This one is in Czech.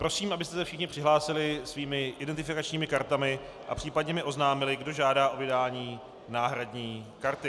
Prosím, abyste se všichni přihlásili svými identifikačními kartami a případně mi oznámili, kdo žádá o vydání náhradní karty.